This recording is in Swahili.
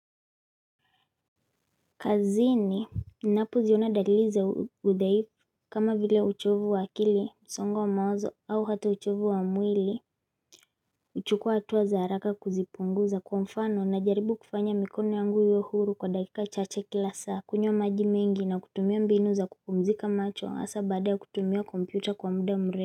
Kazini ninapoziona dalili za udhaifu kama vile uchovu wa akili, msongo wa mawazo au hata uchovu wa mwili huchukua hatua za haraka kuzipunguza kwa mfano najaribu kufanya mikono yangu iwe huru kwa dakika chache kila saa, kunywa maji mengi na kutumia mbinu za kupumzika macho hasa baada ya kutumia kompyuta kwa muda mre.